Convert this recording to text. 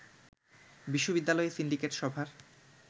বিশ্ববিদ্যালয়ে সিন্ডিকেট সভার